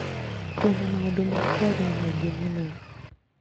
Twina maũndũ ma kwaria maingĩ mũno